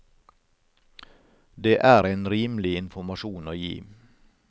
Det er en rimelig informasjon å gi.